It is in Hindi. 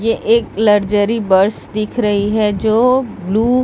ये एक लरजरी बस दिख रही है जो ब्लू --